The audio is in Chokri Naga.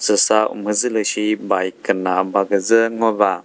süsa umhüdzülüshi bike küna ba küdzü ngo ba.